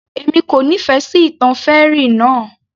Èmi kò nífẹ̀ẹ́ sí ìtàn fairy náà